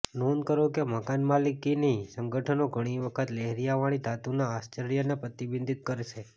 નોંધ કરો કે મકાનમાલિકની સંગઠનો ઘણી વખત લહેરિયાંવાળી ધાતુના આશ્રયને પ્રતિબંધિત કરશે